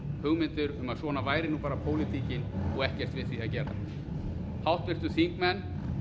hugmyndir um að svona væri bara pólitíkin og ekkert við því að gera háttvirtir þingmenn